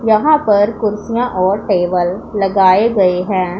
यहां पर कुर्सियां और टेबल लगाए गए हैं।